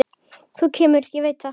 Þú kemur, ég veit það.